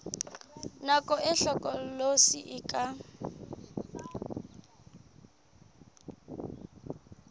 nako e hlokolosi e ka